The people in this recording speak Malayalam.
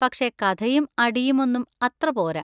പക്ഷെ കഥയും അടിയും ഒന്നും അത്ര പോരാ.